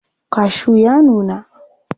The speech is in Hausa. Kashu ya nuna.